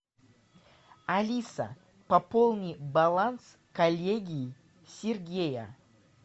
алиса пополни баланс коллеги сергея